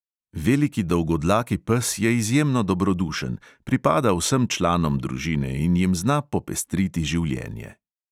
Veliki dolgodlaki pes je izjemno dobrodušen, pripada vsem članom družine in jim zna popestriti življenje.